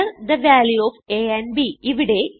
Enter the value of a and b